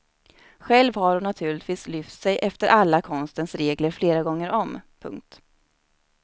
Själv har hon naturligtvis lyft sig efter alla konstens regler flera gånger om. punkt